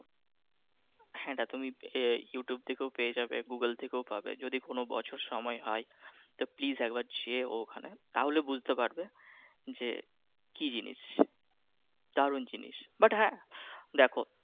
হ্যাঁ, এইটা তুমি ইউটিউব থেকেও পেয়ে যাবে গুগোল থেকেও পাবে যদি কোন বছর সময় হয় তো please একবার যেও ওইখানে তাহলে বুঝতে পারবে যে কি জিনিস দারুন জিনিস but হ্যাঁ দেখো